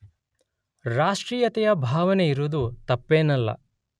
ರಾಷ್ಟ್ರೀಯತೆಯ ಭಾವನೆ ಇರುವುದು ತಪ್ಪೇನಲ್ಲ.